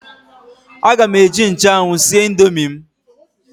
Aga m eji nchụanwụ sie indomi m.